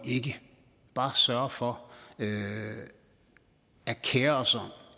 ikke bare sørger for at kere sig